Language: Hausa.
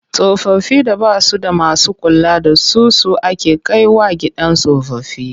Tsofaffin da ba su da masu kula da su su ake kai wa gidan tsofaffi.